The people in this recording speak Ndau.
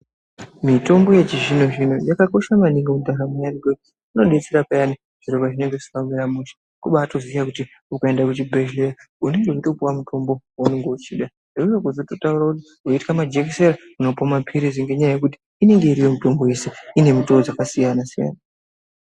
Mitombo yechizvino zvino yakakosha maningi kugara nayo ngekuti inodetsera payani zviro pezvinenge zvisina kumira mushe kubatoziye kuti ukaende kuchibhehleya unenge uchipuwe mitombo waunenge uchida hino kwozototaure kuti weitya majekisera unopiwe mapirizi ngenyaya yekuti inenge iriyo mitombo yese ine mitoo dzaka siyana siyana.